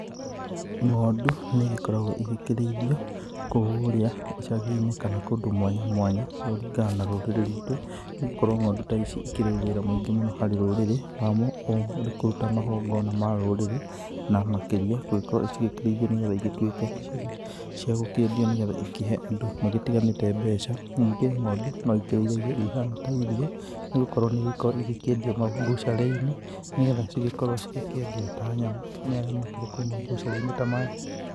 Ng'ondu nĩ igĩkoragwo igĩkĩrĩithio kũrĩa icagi-inĩ kana kũndũ mwanya mwanya kũringana na rũrĩrĩ rwitũ nĩ gũkorwo ng'ondu ta ici ikĩrĩ wĩra mũingĩ mũno harĩ rũrĩrĩ wamo ũrĩ kũruta magongona ma rũrĩrĩ na makĩria gũgĩkorwo cigĩkĩrĩithio nĩgetha igĩtuĩke cia gũkĩendio nĩgetha ikĩhe andũ matiganĩte mbeca, ningĩ ng'ondu no ikĩrĩithagio ihana ta irio nĩ gũkorwo nĩ ikoragwo igĩkĩendio mabucarĩ-inĩ, nĩgetha igĩkorwo ikĩendio ta nyama nĩ arĩa makĩrĩ kou mabucarĩ-inĩ ta maya.